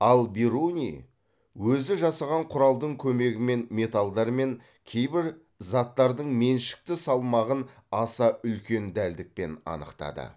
ал бируни өзі жасаған құралдың көмегімен металдар мен кейбір заттардың меншікті салмағын аса үлкен дәлдікпен анықтады